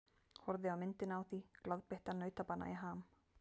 Horfði á myndina á því, glaðbeittan nautabana í ham.